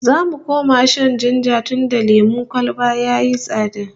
Za mu koma shan jinja tunda lemon kwalba yayi tsada